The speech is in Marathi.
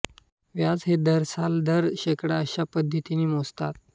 व्याज हे दरसाल दर शेकडा अश्या पद्धतीने मोजतात